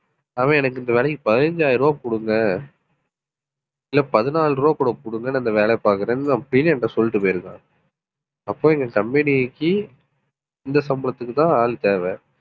அவன் எனக்கு இந்த வேலைக்கு பதினைந்தாயிரம் ரூபாய் கொடுங்க இல்லை பதினாலு ரூபாய் கூட கொடுங்கன்னு அந்த வேலையை பார்க்கிறேன்னு அப்படினு என்கிட்ட சொல்லிட்டு போயிருக்கான். அப்போ எங்க company க்கு இந்த சம்பளத்துக்குதான் ஆள் தேவை